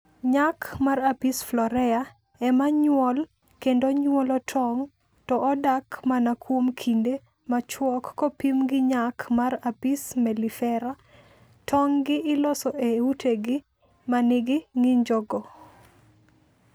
Nyak mar Apis florea e ma nyuol kendo nyuolo tong' to odak mana kuom kinde machuok kopim gi nyak mar Apis mellifera. Tong'gi iloso e utegi ma nigi ng'injogo.